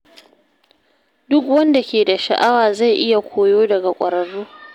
Duk wanda ke da sha’awa zai iya koyo daga ƙwararru.......